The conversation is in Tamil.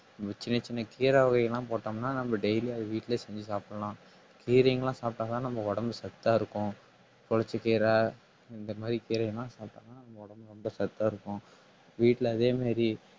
இந்த சின்ன சின்ன கீரை வகையெல்லாம் போட்டோம்ன்னா நம்ம daily அத வீட்டிலேயே செஞ்சு சாப்பிடலாம் கீரைங்கெல்லாம் சாப்பிட்டா தான் நம்ம உடம்பு சத்தா இருக்கும் புளிச்சக்கீரை இந்த மாதிரி கீரை எல்லாம் சாப்பிட்டோம்னா நம்ம உடம்பு சத்தா இருக்கும் வீட்ல அதே மாதிரி